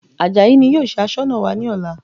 Àjàyí ni yóò ṣe Aṣọ́nà wa ní ọ̀la